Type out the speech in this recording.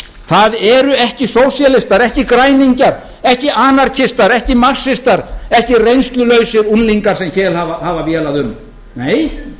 það eru ekki sósíalistar ekki græningjar ekki anarkistar ekki marxistar ekki reynslulausir unglingar sem hér hafa vélað um nei